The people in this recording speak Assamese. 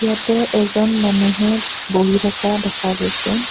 ইয়াতে এজন মানুহে বহি থকা দেখা গৈছে।